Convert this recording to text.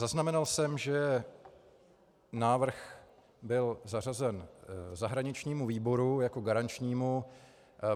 Zaznamenal jsem, že návrh byl zařazen zahraničnímu výboru jako garančnímu.